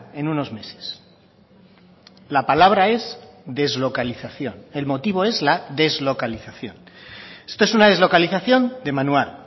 en unos meses la palabra es deslocalización el motivo es la deslocalización esto es una deslocalización de manual